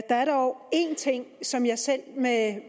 er dog en ting som jeg selv med